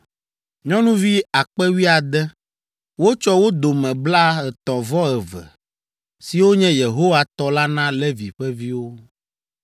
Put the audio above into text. nyɔnuvi akpe wuiade (16,000), wotsɔ wo dome blaetɔ̃-vɔ-eve, siwo nye Yehowa tɔ la na Levi ƒe viwo.